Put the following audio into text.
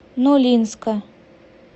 нолинска